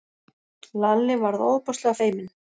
Lalli varð ofboðslega feiminn.